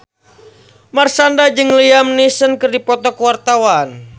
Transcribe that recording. Marshanda jeung Liam Neeson keur dipoto ku wartawan